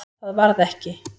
Það varð ekki.